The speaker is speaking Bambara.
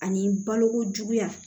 Ani balokojuguya